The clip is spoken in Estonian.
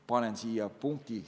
Panen siia punkti.